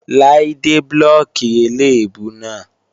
Láídé blóòkì eléèbú náà.